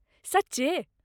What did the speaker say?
सच्चे!?